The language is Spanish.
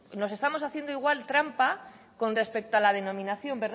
nos estamos haciendo igual trampa con respecto a la denominación